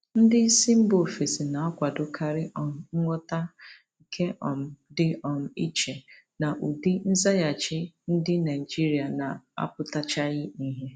Ndị isi mba ofesi na-akwadokarị um nghọta, nke um dị um iche na ụdị nzaghachi ndị Naijiria na-apụtachaghị ìhè.